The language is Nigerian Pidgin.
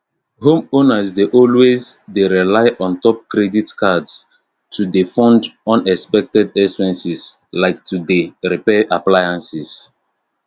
homeowners dey always dey rely untop credit cards to dey fund unexpected expenses like to dey repair appliances